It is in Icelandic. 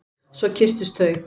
Svo kysstust þau.